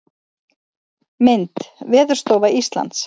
Mynd: Veðurstofa Íslands.